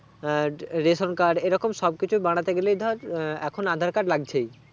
আহ ration card এই রকম সবকিছু বানাতে গেলেই ধর আহ এখন aadhar card লাগছেই